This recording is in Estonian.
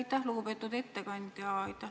Aitäh, lugupeetud eesistuja!